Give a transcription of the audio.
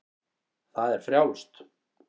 Það er frjálst.